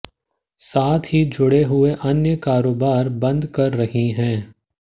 साथ ही जुड़े हुए अन्य कारोबार बंद कर रही है